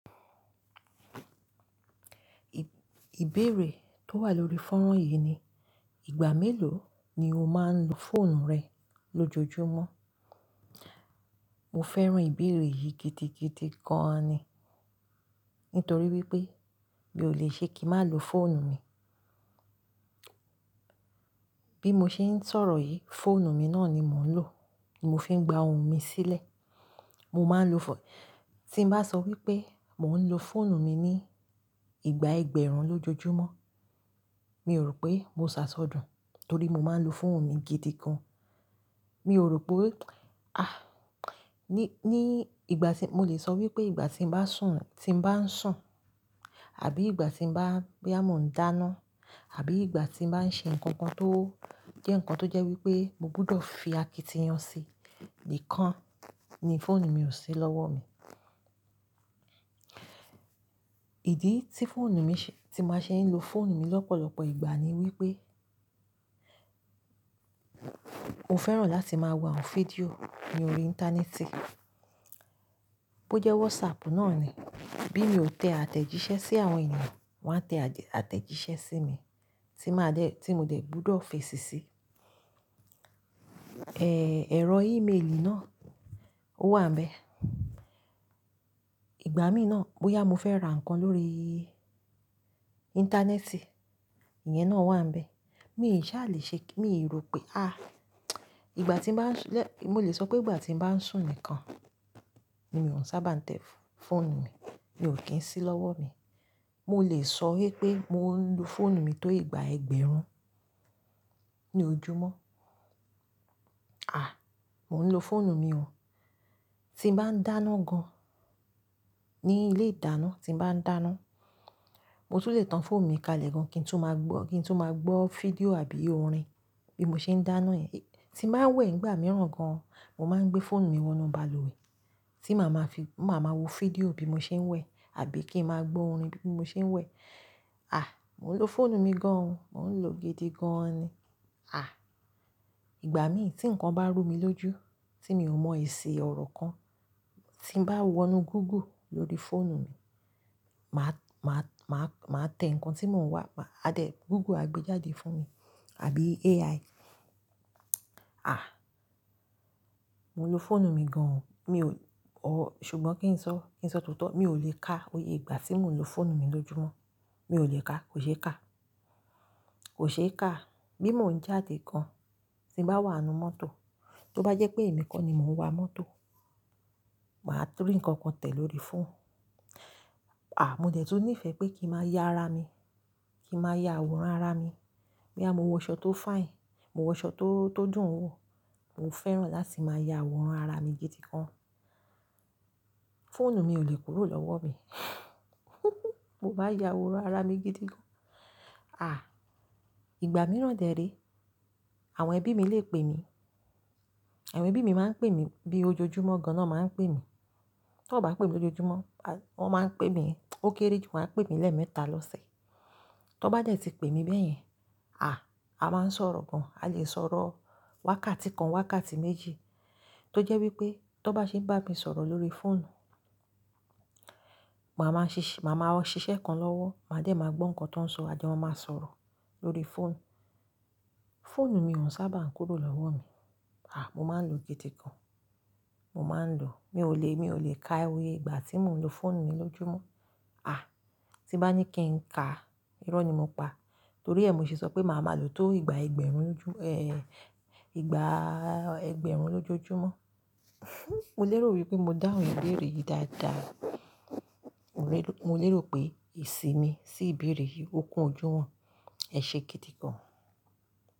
Ìbéèrè tó wà lórí fọ́nrán yìí ni, ìgbà mélòó ni o máa ń lo fóònù rẹ lójoojúmọ́? Mo fẹ́ràn ìbéèrè yìí gidi gidi gan an ni. Nítorí wípé mi ò le ṣe kí n má lo fóònù mi. Bí mo ṣe ń sọ̀rọ̀ yìí, fóònù mi náà ni mò ń lò, mo fi ń gba ohùn mi sílẹ̀. Mo máa ń lo fọonu, tí n bá sọ wípé mò ń lo fóònù mi ní ìgbà ẹgbẹ̀rún lójoojúmọ́, mi ò rò pé mo ṣàsọdùn torí mo máa ń lo fóònù mi gidi gan. Mi ò rò pé, à, ní, ní ìgbà tí, mo lè sọ wípé ìgbà tí n bá sùn, tí n bá ń sùn àbí ìgbà tí bá, bóyá mo ń dáná, àbí ìgbà tí ń bá ń ṣe ǹkan kan tó jẹ́ nǹkan tó jẹ́ wípé mo gbọdọ̀ fi akitiyan síi, nìkàn ni fóònù mi ò sí lọ́wọ́ mi. Ìdí tí fóònù mi ṣe, tí màá ṣe ń lo fóònù mi lọ́pọ̀lọ́pọ̀ ìgbà ni wípé mo fẹ́ràn láti máa wo àwọn fídíò lórí íńtánẹ́ẹ̀tì, bó jẹ́ WhatsApp náà ni. Bí mi ò tẹ àtẹ̀jíṣẹ́ sí àwọn ènìyàn, wọ́n á tẹ àtẹ̀jíṣẹ́ sí mi tí màá dẹ̀, tí mo dẹ̀ gbọdọ̀ fèsì síi. Ẹ̀, ẹ̀rọ ímeélì náà ó wà ńbẹ. Ìgbà míì náà bóyá mo fẹ́ ra nǹkan lórí íńtánẹ́ẹ̀tì, ìyẹn náà wà ńbẹ. Mi ìṣà lè ṣe kí, mi rò pé, à, ìgbà tí ń bá, mo lè sọ pé ìgbà tí ń bá ń sùn nìkan ni mi ò sábà ń tẹ fóònù mi, ni ò kí ń sí lọ́wọ́ mi. Mo lè sọ wípé mo ń lo fóònù mi tó ìgbà ẹgbẹ̀rún ní ojúmọ́. À, mò ń lo fóònù mi o. Tí ń bá ń dáná gan ní ilé ìdáná, tí ń bá ń dáná, mo tún lè tan fóònù mi kalẹ̀ gan kí n tún máa gbọ́, kí n tu máa gbọ́ fídíò àbí orin bí mo ṣe ń dáná yẹn. Tí n bá wẹ̀ nígbà mìíràn gan, mo máa ń gbé fóònù mi wọnú balùwẹ̀ tí màá ma fi, mà ma wo fídíò bí mo ṣe ń wẹ̀ àbí kí ń máa gbọ́ orin bí mo ṣe ń wẹ̀. À, mò ń lo fóònù mi gan o, mò ń lò ó gidi gan an ni. À, ìgbà míì tí nǹkan bá rú mi lójú, tí mi ò mọ èsì ọ̀rọ̀ kan, tí ń bá wọnú Google lórí fóònù mi, màá, màá, màá tẹ nǹkan tí mò ń wà, Google á gbé jáde fún mi, àbí AI. À, mò ń lo fóònù mi gan o. Mi ò, ṣùgbọ́n kí n sọ, kí n sọ tótó, mi ò lè ka oyè ìgbà tí mò ń lo fóònù mi lójúmọ́. Mi ò lè ka, kò ṣe kà. Kò ṣe é kà. Bí mo ń jáde gan, tí ń bá wà nú mọ́tò, tó bá jẹ́ pé èmi kọ́ ni mò ń wa mọ́tò, màá tu ri nǹkan kan tẹ̀ lórí fóònù. À, mo dẹ̀ tún nífẹ̀ẹ́ pé kí ń máa yá ara mi, kí ń máa yá àwòrán ara mi. Boyà, mo wọ aṣọ tó fine, mo wọ aṣọ tó dùn wò, mo fẹ́ràn láti máa yá àwòrán ara mi gidi gan. Fóònù mi ò lè kúrò lọ́wọ́ mi, mó má yá àwòrán ara mi gidi gan. À, ìgbà mìíràn dẹ̀ rẹ, àwọn ẹbí mi lè pè mi. Àwọn ẹbí mi máa ń pè mi bí ojoojúmọ́ gan lọ máa ń pè mi. Tó bá pè mí lójoojúmọ́, wọ́n máa ń pè mi, ó kéré jù, wọ́n á pè mí lẹ́ẹ̀mẹta lọ́sẹ̀. Tó bá dẹ́ tí pè mi bẹ́yẹn, à, a máa ń sọ̀rọ̀ gan. A lè sọ̀rọ̀ wákàtí kan, wákàtí méjì tó jẹ́ wípé tó bá ṣe ń bá mi sọ̀rọ̀ lórí fóònù, màá ma ṣiṣẹ́ kan lọ́wọ́, màá dẹ̀ máa gbọ́ nǹkan tí wọ́n ń sọ, àjọ mọ máa sọ̀rọ̀ lórí fóònù. Fóònù mi ò sábà ń kúrò lọ́wọ́ mi. À, mo máa ń lò gidi gan. Mo máa ń ló. Mi ò lè, mi ò lè ka oyè ìgbà tí mò ń lo fóònù mi lójúmọ́. À, tí bá ní kí n ka, irọ́ ni mo pa. Torí ẹ, mo ṣe sọ pé màá máa ló tó ìgbà ẹgbẹ̀rún, èé, ìgbà ẹgbẹ̀rún lójoojúmọ́. Mo lérò wípé mo dáhùn ìbéèrè yìí dáadáa. Mo lérò, mo lérò pé esì mi sí ìbéèrè yìí ó kún ojú wọn. Ẹ̀ ṣe gidi gan.